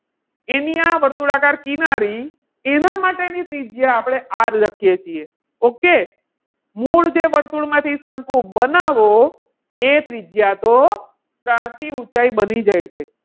એની આ વર્તુળાકાર કિનારી એના માટેની ત્રિજ્યા આપણે R લખીએ છીએ. okay? મૂળ જે વર્તુળમાંથી શંકુ બનાવો એ ત્રિજ્યા તો ત્રાંસી ઊંચાઈ બની જાય છે.